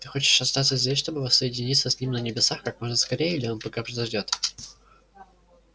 ты хочешь остаться здесь чтобы воссоединиться с ним на небесах как можно скорее или он пока подождёт